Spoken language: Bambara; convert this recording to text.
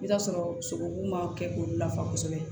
I bɛ t'a sɔrɔ sogobu ma kɛ olu la kosɛbɛ